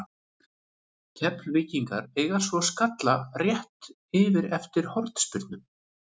Keflvíkingarnir eiga svo skalla rétt yfir eftir hornspyrnu.